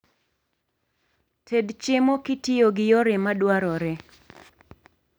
Ted chiemo kitiyo gi yore madwarore